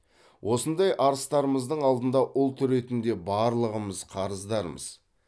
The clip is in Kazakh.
осындай арыстарымыздың алдында ұлт ретінде барлығымыз қарыздармыз